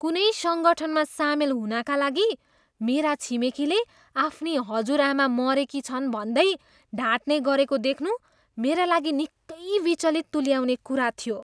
कुनै सङ्गठनमा सामेल नहुनाका लागि मेरा छिमेकीले आफ्नी हजुरआमा मरेकी छन् भन्दै ढाट्ने गरेको देख्नु मेरा लागि निकै विचलित तुल्याउने कुरा थियो।